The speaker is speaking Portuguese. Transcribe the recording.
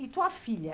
E tua filha?